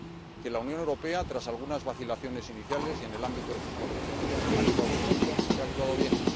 que la Unión Europea, tras algunas vacilaciones iniciales y en el ámbito de sus competencias, ha actuado pronto y ha actuado bien.